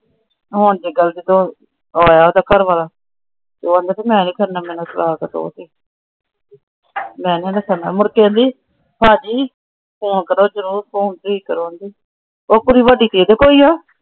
ਹੁਣ ਤੋਂ ਆਇਆ ਉਹੰਦਾ ਘਰਵਾਲਾ। ਉਹ ਆਉਂਦਾ ਮੈ ਨਹੀਂ ਕਰਨਾ ਮੈਨੂੰ ਤਲਾਕ ਦੋ । ਮੁੜ ਕੇ ਕਹਿੰਦੀ ਭਾਜੀ ।